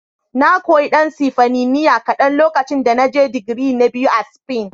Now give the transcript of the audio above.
Na koyi ɗan Sifaniniya kaɗan lokacin da na je digiri na biyu a Spain.